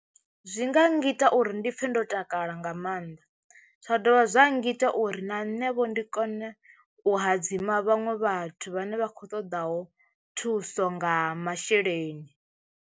Zwi nga ngita uri ndi pfhe ndo takala nga maanḓa zwa dovha zwa ngita uri na nṋe vho ndi kone u hadzima vhaṅwe vhathu vhane vha kho ṱoḓaho thuso nga masheleni.